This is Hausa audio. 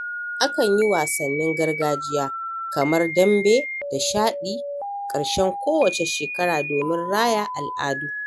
Akan yi wasannin gargajiya kamar dambe da shaɗi ƙarshen kowacce shekara domin raya al’adu.